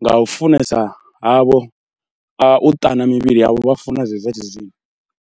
nga u funesa havho u ṱana mivhili yavho vha funa zwezwi zwa tshizwino.